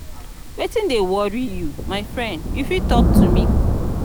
wetin dey worry you my friend you fit talk to me?